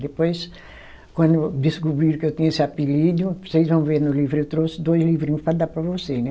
Depois, quando descobriram que eu tinha esse apelido, vocês vão ver no livro, eu trouxe dois livrinhos para dar para vocês, né?